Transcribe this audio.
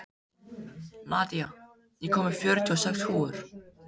Nadia, ég kom með fjörutíu og sex húfur!